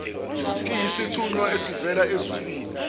iyisithunywa esivela ezulwini